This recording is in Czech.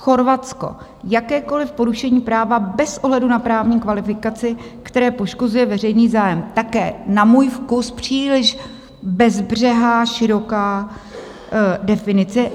Chorvatsko - jakékoliv porušení práva bez ohledu na právní kvalifikaci, které poškozuje veřejný zájem, také na můj vkus příliš bezbřehá široká definice.